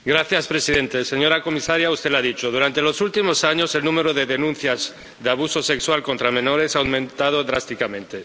Señor presidente, señora comisaria, usted lo ha dicho durante los últimos años, el número de denuncias de abuso sexual contra menores ha aumentado drásticamente.